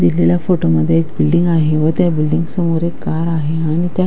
दिलेल्या फोटो मध्ये एक बिल्डिंग आहे व त्या बिल्डिंग समोर एक कार आहे आणि त्या--